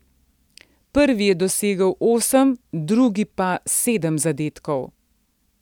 Prvi je dosegel osem, drugi pa sedem zadetkov.